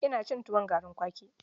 Ina cin tuwon garin kwaki.